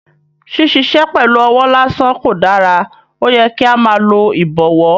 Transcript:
Ṣiṣiṣẹ pẹlu ọwọ lasan ko dara, oyẹ ki a máa lo ibọwọ